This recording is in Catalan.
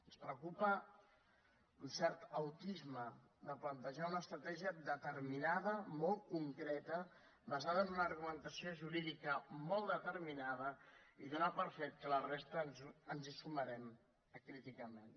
ens preocupa un cert autisme de plantejar una estratègia determinada molt concreta basada en una argumentació jurídica molt determinada i donant per fet que ens hi sumarem acríticament